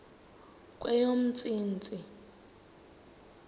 kweyomntsintsi